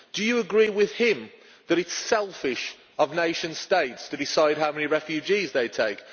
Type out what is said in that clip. Do you agree with him that it is selfish of nation states to decide how many refugees they take?